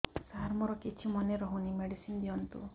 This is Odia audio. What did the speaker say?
ସାର ମୋର କିଛି ମନେ ରହୁନି ମେଡିସିନ ଦିଅନ୍ତୁ